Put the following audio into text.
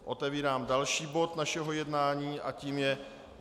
Otevírám další bod našeho jednání a tím je